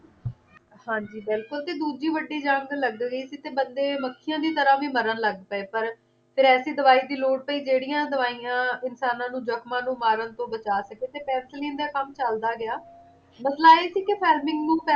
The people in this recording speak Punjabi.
ਹਾਂ ਜੀ ਬਿਲਕੁਲ ਤੇ ਦੂਜੀ ਵੱਡੀ ਜੰਗ ਲੱਗ ਗਈ ਸੀ ਤੇ ਬੰਦੇ ਮੱਖੀਆਂ ਦੀ ਤਰ੍ਹਾਂ ਵੀ ਮਰਨ ਲੱਗ ਪਏ ਪਰ ਫੇਰ ਐਸੀ ਦਵਾਈ ਦੀ ਲੋੜ ਪਈ ਜਿਹੜੀਆਂ ਦਵਾਈਆਂ ਇਨਸਾਨਾਂ ਨੂੰ ਜਖਮਾਂ ਨੂੰ ਮਾਰਨ ਤੋਂ ਬਚਾ ਸਕੇ ਤੇ ਪੈਂਸੀਲੀਂ ਦਾ ਕੰਮ ਚੱਲਦਾ ਗਿਆ ਮਸਲਾ ਇਹ ਸੀ ਕਿ ਫੇਮਲਿੰਗ ਨੂੰ